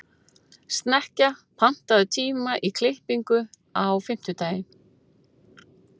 Snekkja, pantaðu tíma í klippingu á fimmtudaginn.